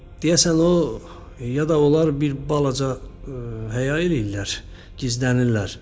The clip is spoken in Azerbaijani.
Deyəsən o, ya da onlar bir balaca həya eləyirlər, gizlənirlər.